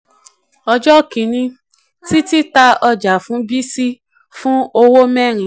ọjọ́ kìíní x ta ọjà fún y fa ìwé owó mẹ́rin